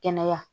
Kɛnɛya